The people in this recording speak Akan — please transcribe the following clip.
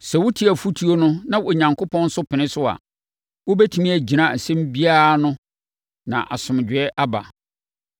Sɛ wotie afotuo no na Onyankopɔn nso pene so a, wobɛtumi agyina asɛm biara ano na asomdwoeɛ aba.”